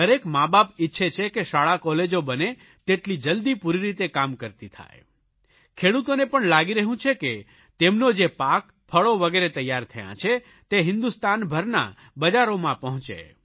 દરેક માબાપ ઇચ્છે છે કે શાળાકોલેજો બને તેટલી જલદી પૂરી રીતે કામ કરતી થાય ખેડૂતોને પણ લાગી રહ્યું છે કે તેમનો જે પાક ફળો વગેરે તૈયાર થયા છે તે હિન્દુસ્તાનભરના બજારોમાં પહોંચે